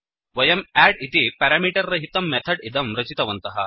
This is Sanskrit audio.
वयं अद्द् इति पेरामीटर् रहितं मेथड् इदं रचितवन्तः